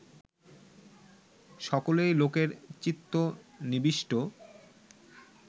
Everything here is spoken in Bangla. সকলেই লোকের চিত্ত নিবিষ্ট